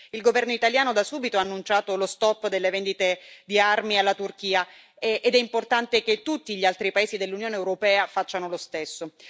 Il governo italiano, da subito, ha annunciato lo stop delle vendite di armi alla Turchia ed è importante che tutti gli altri paesi dell'Unione europea facciano lo stesso.